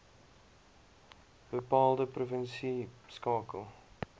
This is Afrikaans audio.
bepaalde provinsie skakel